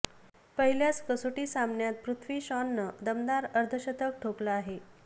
पहिल्याच कसोटी सामन्यात पृथ्वी शॉनं दमदार अर्धशतक ठोकलं आहे